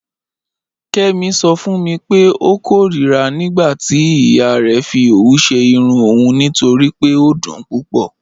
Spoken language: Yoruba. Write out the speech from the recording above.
Kẹmi sọ fun mi pẹ̀ ọ kọ̀rira nígbàtí iya rẹ fì ọwù ṣẹ́ irùn ọun nítorí pé ọ dún púpọ̀.